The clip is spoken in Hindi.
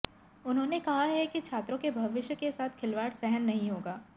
उन्होंने कहा है कि छात्रों के भविष्य के साथ खिलवाड़ सहन नहीं होगा